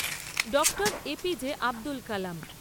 Dr A P J Abdul Kalam